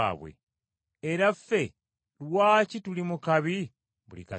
Era ffe lwaki tuli mu kabi buli kaseera?